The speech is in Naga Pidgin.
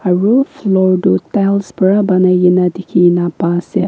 aru floor toh tiles para banai na dekhina paiase.